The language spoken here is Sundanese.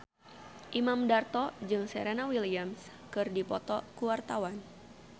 Imam Darto jeung Serena Williams keur dipoto ku wartawan